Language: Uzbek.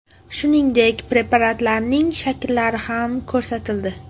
Shuningdek, preparatlarning shakllari ham ko‘rsatildi.